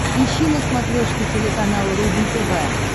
ищи на смотрешке телеканал рубль тв